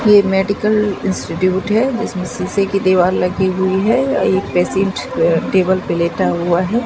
ये medical institute हैं जिसमें शीशे की दीवार लगी हुई है एक पेशेंट टेबल पर लेटा हुआ हैं।